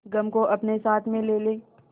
गम को अपने साथ में ले ले